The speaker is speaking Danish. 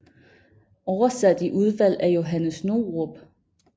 Oversat i udvalg af Johannes Novrup